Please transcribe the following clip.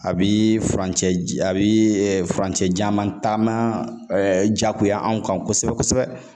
A bi furancɛ a bi furancɛ janman taama jagoya anw kan kosɛbɛ kosɛbɛ